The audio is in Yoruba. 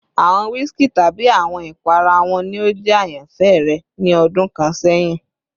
Awọn whiskey tabi awọn ipara wo ni o jẹ ayanfẹ rẹ ni ọdun kan sẹhin?